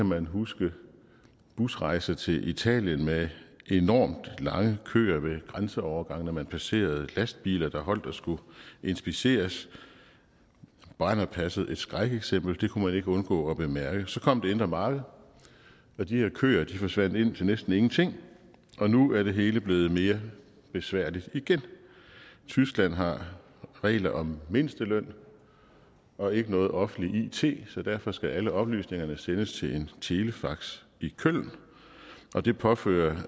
man huske busrejser til italien med enormt mange kører ved grænseovergangene man passerede lastbiler der holdt og skulle inspiceres brennerpasset var et skrækeksempel det kunne man ikke undgå at bemærke så kom det indre marked og de her køer forsvandt ind til næsten ingenting og nu er det hele blevet mere besværligt igen tyskland har regler om mindsteløn og ikke noget offentligt it så derfor skal alle oplysningerne sendes til en telefax i køln og det påfører